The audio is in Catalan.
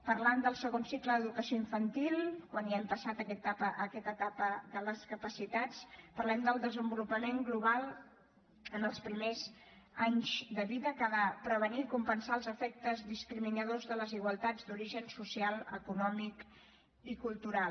parlant del segon cicle d’educació infantil quan ja hem passat aquesta etapa de les capacitats parlem del desenvolupament global en els primers anys de vida que ha de prevenir i compensar els efectes discriminadors de desigualtats d’origen social econòmic i cultural